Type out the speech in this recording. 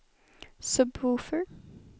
sub-woofer